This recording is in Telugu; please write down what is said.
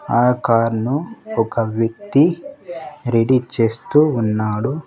ఆ కార్ ను ఒక వ్యక్తి రెఢీ చేస్తూ ఉన్నాడు.